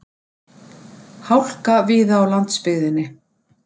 Hálka víða á landsbyggðinni